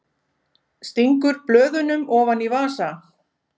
Stingur blöðunum ofan í vasa.